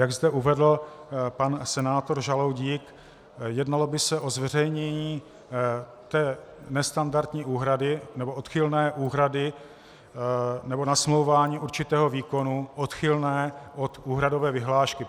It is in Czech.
Jak zde uvedl pan senátor Žaloudík, jednalo by se o zveřejnění té nestandardní úhrady nebo odchylné úhrady nebo nasmlouvání určitého výkonu odchylné od úhradové vyhlášky.